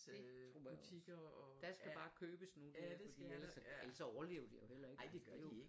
Det tror jeg også der skal bare købes nu for ellers ellers så overlever de jo heller ikke